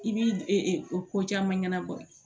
I b'i o ko caman ɲɛnabɔ